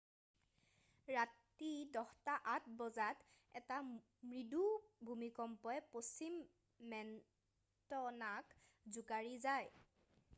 ৰাতি 10:08 বজাত এটা মৃদু ভূমিকম্পই পশ্চিম মন্টেনাক জোকাৰি যায়